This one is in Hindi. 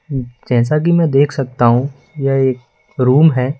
जैसा कि मैं देख सकता हूं यह एक रूम है।